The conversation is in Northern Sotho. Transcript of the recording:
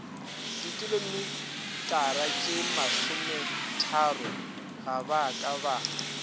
dikilometaratšemasometharo ga ba ka ba